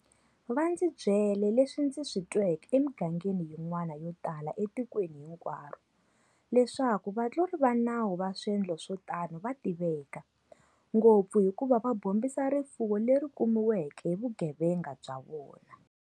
Va ndzi byele leswi ndzi swi tweke emigangeni yin'wana yotala etikweni hinkwaro- leswaku vatluri va nawu va swendlo swo tano va tiveka, ngopfu hikuva va bombisa rifuwo leri kumiweke hi vugevenga bya vona.